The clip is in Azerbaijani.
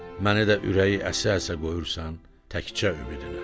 məni də ürəyi əsə-əsə qoyursan təkcə ümidinə.